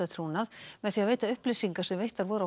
trúnað með því að veita upplýsingar sem veittar voru